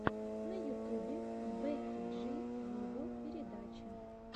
на ютубе бекки джи виво передача